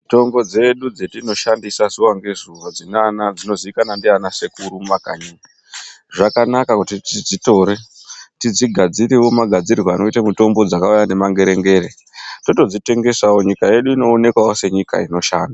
Mitombo dzedu dzatinoshandisa zuwa ngezuwa dzinoziikanwa ndiaana sekuru mumakanyi. Zvakanaka kuti tidzitore tidzigadzirewo magadzirirwe akaita mitombo dzakauya ngemangerengere totodzitengesawo teiona mare nyika yedu yachitoonekawo senyika inoshanda